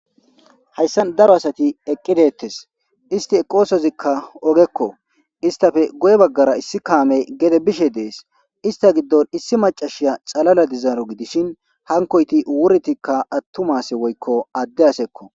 Hayssan daro asati eqqidettes isti eqosozikka ogekko istafe goye baggara issi kaame gede bishe dees ista giddon issi macashiya xalala dizaaro gidishin hankoyti wurtikka attumase woykko adde asekko.